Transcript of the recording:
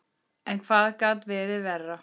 En hvað gat verið verra?